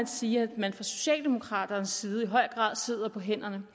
sige at man fra socialdemokraternes side i høj grad sidder på hænderne